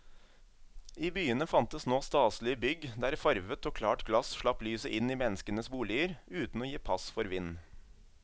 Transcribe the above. I byene fantes nå staselige bygg der farvet og klart glass slapp lyset inn i menneskenes boliger uten å gi pass for vind.